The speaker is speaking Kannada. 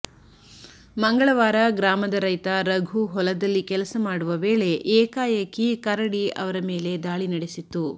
ಮಂಗಳವಾರ ಗ್ರಾಮದ ರೈತ ರಘು ಹೊಲದಲ್ಲಿ ಕೆಲಸ ಮಾಡುವ ವೇಳೆ ಏಕಾಏಕಿ ಕರಡಿ ಅವರ ಮೇಲೆ ದಾಳಿ ನಡೆಸಿತ್ತು